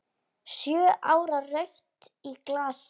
Sjö ára rautt í glasi.